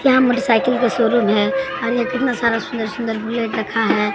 यहां motorcycle के showroom है और ये कितना सारा सुंदर-सुंदर बुलेट रखा है।